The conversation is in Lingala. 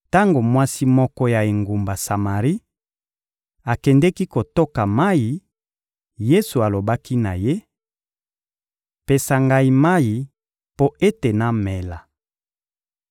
Tango mwasi moko ya engumba Samari akendeki kotoka mayi, Yesu alobaki na ye: — Pesa Ngai mayi mpo ete namela.